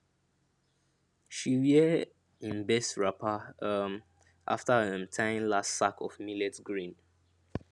she wear im best wrapper um after um tying last sack of millet grain